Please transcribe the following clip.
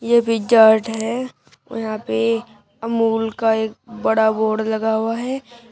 ये Pizza Hut है और यहां पे अमूल का एक बड़ा बोर्ड लगा हुआ है।